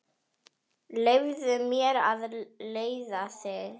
Leyfðu mér að leiða þig.